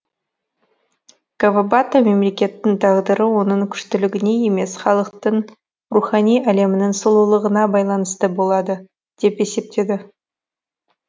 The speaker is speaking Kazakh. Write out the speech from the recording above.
кавабата мемлекеттің тағдыры оның күштілігіне емес халықтың рухани әлемінің сұлулығына байланысты болады деп есептеді